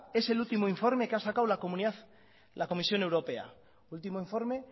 es el último informe que ha sacado la comisión europea último informe